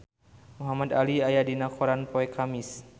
Muhamad Ali aya dina koran poe Kemis